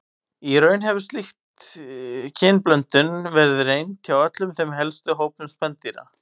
Í raun hefur slík kynblöndun verið reynd hjá öllum helstu hópum spendýra.